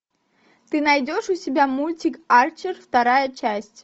ты найдешь у себя мультик арчер вторая часть